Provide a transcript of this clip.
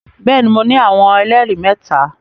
Bẹẹni, Mo ni awọn ẹlẹri mẹta